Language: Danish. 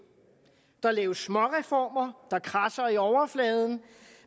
der laves små reformer der kradser i overfladen